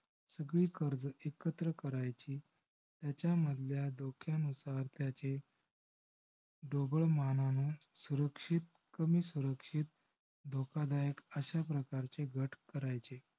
सगळे कर्ज एकत्र करायची. त्याचा मधल्या धोक्यानुसार त्याचे ढोबळ मानाने सुरक्षित कमी सुरक्षित धोकादायक अश्या प्रकारचे गट करायचे.